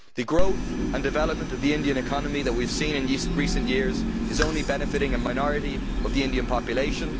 The growth and development of the Indian economy that we have seen in recent years is only benefitting a minority of the Indian population.